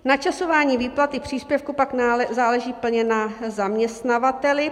Načasování výplaty příspěvku pak záleží plně na zaměstnavateli.